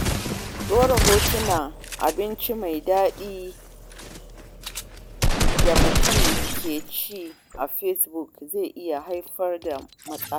Ɗora hotunan abinci mai daɗi da mutum ke ci a Facebook zai iya haifar da matsala